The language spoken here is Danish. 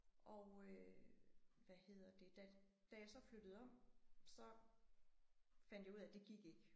Og øh hvad hedder det da da jeg så flyttede om så fandt jeg ud af det gik ikke